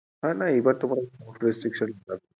না না এইবার তো মনে হয় ওরকম restriction না।